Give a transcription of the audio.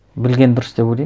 білген дұрыс деп ойлаймын